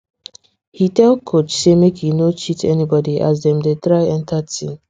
he tell coach say make e no cheat anybody as dem dey try enter team